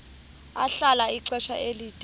ahlala ixesha elide